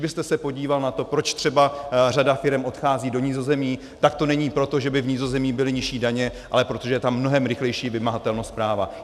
Kdybyste se podíval na to, proč třeba řada firem odchází do Nizozemí, tak to není proto, že by v Nizozemí byly nižší daně, ale proto, že je tam mnohem rychlejší vymahatelnost práva.